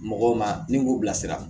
Mɔgɔw ma ni k'u bilasira